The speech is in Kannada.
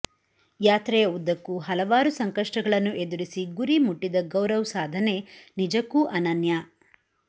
ಯಾತ್ರೆಯ ಉದ್ದಕ್ಕೂ ಹಲ ವಾರು ಸಂಕಷ್ಟಗಳನ್ನು ಎದು ರಿಸಿ ಗುರಿ ಮುಟ್ಟಿದ ಗೌರವ್ ಸಾಧನೆ ನಿಜಕ್ಕೂ ಅನನ್ಯ